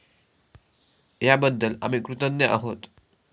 याबद्दल आम्ही कृतज्ञ आहोत.